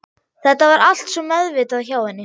Þetta var allt svo meðvitað hjá henni.